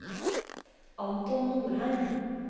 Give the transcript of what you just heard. Anton Norheim